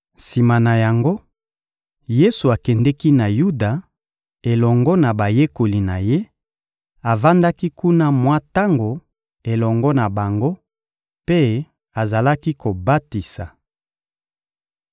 Sima na yango, Yesu akendeki na Yuda, elongo na bayekoli na Ye; avandaki kuna mwa tango elongo na bango mpe azalaki kobatisa.